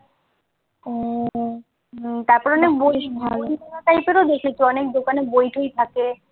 তারপর অনেক বই বই টাইপেরও দেখেছি অনেক দোকানে বই-টই থাকে